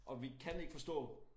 Og vi kan ikke forstå